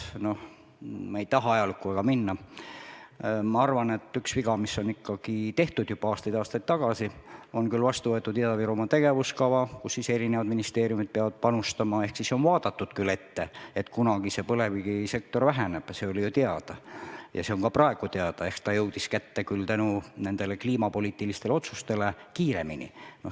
Ma ei taha praegu oma jutuga väga ajalukku minna, aga arvan, et üks viga on tehtud juba aastaid-aastaid tagasi sellega, et on küll vastu võetud Ida-Virumaa tegevuskava, kuhu eri ministeeriumid peavad panustama, ehk siis on vaadatud ette ja arvestatud, et kunagi põlevkivisektor väheneb – see oli ju teada ja on ka praegu teada –, aga kliimapoliitiliste otsuste tõttu on see kõik jõudnud kätte palju kiiremini.